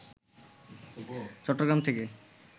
চট্টগ্রাম থেকে